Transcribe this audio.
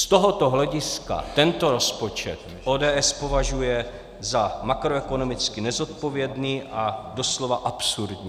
Z tohoto hlediska tento rozpočet ODS považuje za makroekonomicky nezodpovědný a doslova absurdní.